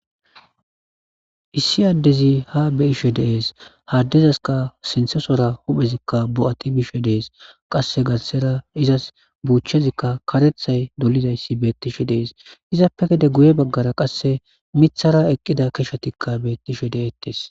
Issi adezi ha beyishe des ha adezaska sinthesora hu'ezika bo'ati bishe des qase garsera izas buchezika karetha dolizaysi betishe des izape gede guye bagara wase mithara eqida keshatika betishe detes